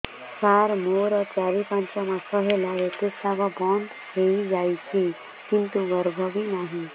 ସାର ମୋର ଚାରି ପାଞ୍ଚ ମାସ ହେଲା ଋତୁସ୍ରାବ ବନ୍ଦ ହେଇଯାଇଛି କିନ୍ତୁ ଗର୍ଭ ବି ନାହିଁ